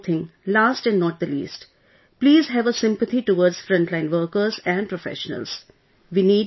And one more thing last and not the least please have a sympathy towards frontline workers and professionals